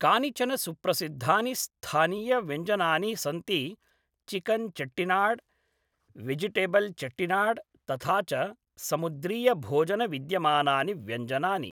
कानिचन सुप्रसिद्धानि स्थानीयव्यञ्जनानि सन्ति चिकन् चेट्टिनाड्, वेजिटेबल् चेट्टिनाड् तथा च समुद्रीयभोजनविद्यमानानि व्यञ्जनानि।